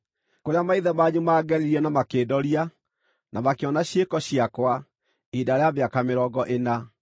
kũrĩa maithe manyu maangeririe na makĩndoria, na makĩona ciĩko ciakwa, ihinda rĩa mĩaka mĩrongo ĩna.